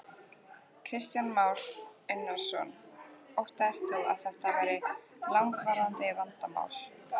Kristján Már Unnarsson: Óttast þú að þetta verði langvarandi vandamál?